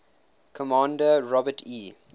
commander robert e